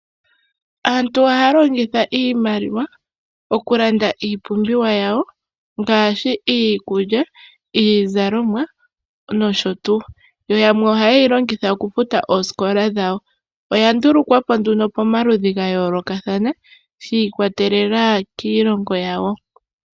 Aantu ohaya longitha iimaliwa okulanda iipumbiwa yawo ngaashi iikulya, iizalomwa, nosho tuu yoyamwe oha yeyi longitha okufuta oosikola dhayo ,oya ndulukwapo nduno komaludhi gayoolokathana shiikwatelela kiilongo yawo.